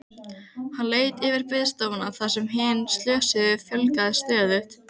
Hann leit yfir biðstofuna þar sem hinum slösuðu fjölgaði stöðugt.